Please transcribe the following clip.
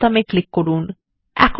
okay বাটনে click করুন